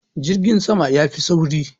jirgin sama ya Fi sauki